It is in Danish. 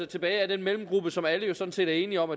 tilbage er den mellemgruppe som alle jo sådan set er enige om